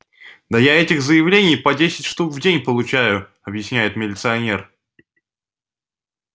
да я этих заявлений по десять штук в день получаю объясняет милиционер